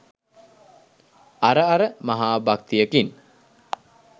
අර අර මහා භක්තියකින්